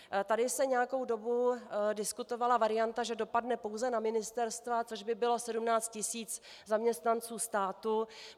Tady se nějakou dobu diskutovala varianta, že dopadne pouze na ministerstva, což by bylo 17 tisíc zaměstnanců státu.